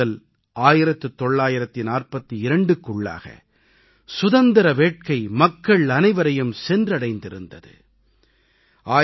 1857 முதல் 1942க்குள்ளாக சுதந்திர வேட்கை மக்கள் அனைவரையும் சென்று அடைந்திருந்தது